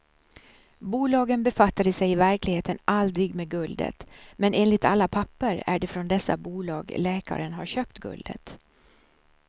Bolagen befattade sig i verkligheten aldrig med guldet, men enligt alla papper är det från dessa bolag läkaren har köpt guldet.